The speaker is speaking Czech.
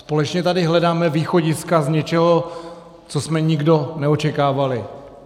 Společně tady hledáme východiska z něčeho, co jsme nikdo neočekával.